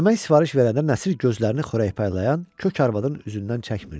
Yemək sifariş verəndə Nəsir gözlərini xörək paylayan kök arvadın üzündən çəkmirdi.